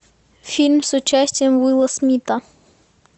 фильм с участием уилла смита